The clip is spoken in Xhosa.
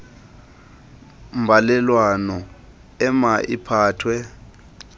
mbalelwano ema iphathwe